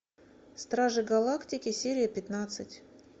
стражи галактики серия пятнадцать